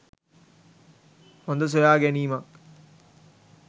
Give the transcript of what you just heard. හොඳ සොයා ගැනීමක්.